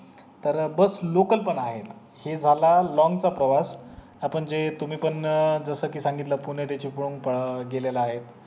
तर bus local पण आहे हे जाला long चा प्रवास आपण जे तुम्ही पण अं सांगितले पुणे जस कि चिपळूण गेलेले आहे